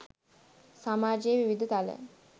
සමාජයේ විවිධ තල